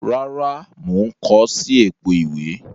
Rárá, mo n ko si èpo ìwé